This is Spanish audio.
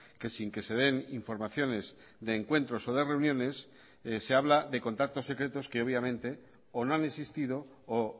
que sin que se den informaciones de encuentros o de reuniones se habla de contactos secretos que obviamente o no han existido o